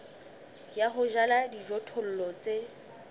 ya ho jala dijothollo tse